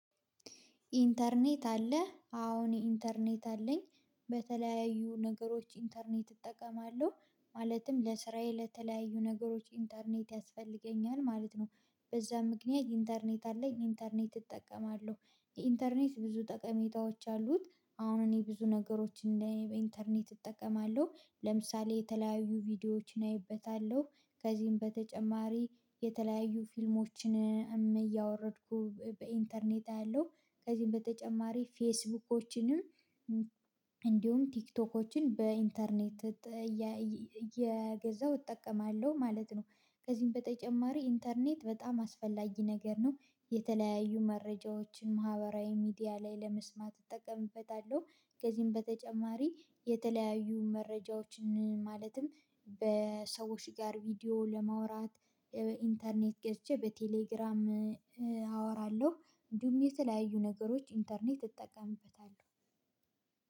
ኢንተርኔት አለህ አዎ እኔ ኢንተርኔት አለኝ። በተለያዩ ነገሮች ኢንተርኔት እጠቀማለሁ ማለትም ለስራዬ ለተለያዩ ነገሮች ኢንተርኔት ያስፈልገኛል ማለት ነው። በዛ ምክንያት ኢንተርኔት አለኝ ኢንተርኔት እጠቀማለሁ። የኢንተርኔት ብዙ ጠቀሜታዎች አሉት። አሁን እኔ ብዙ ነገሮችን በኢንተርኔት እጠቀማለሁ። ለምሳሌ የተለያዩ ቪዲዮዎችን አይበታለሁ ከዚህም በተጨማሪ የተለያዩ ፊልሞችን እያወረድኩ በኢንተርኔት አያለው። ከዚህም በተጨማሪ ፌስቡኮችንም እንዲሁም ቲክቶኮችን በኢንተርኔት የ የገዛው እጠቀማለሁ ማለት ነው። ከዚህም በተጨማሪ ኢንተርኔት በጣም አስፈላጊ ነገር ነው። የተለያዩ መረጃዎችን ማህበራዊ ሚዲያ ላይ ለመስማት እጠቀምበታለሁ። ከዚህም በተጨማሪ የተለያዩ መረጃዎችን ማለትም በሰዎች ጋር ቪዲዮ ለማውራት ኢንተርኔት ገዝቼ በቴሌግራም አወራለሁ። እንዲሁም የተለያዩ ነገሮች ኢንተርኔት እጠቀምበታለሁ።